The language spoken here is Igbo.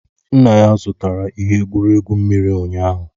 Nna ya zụtara ihe egwuregwu mmiri ụnyaahụ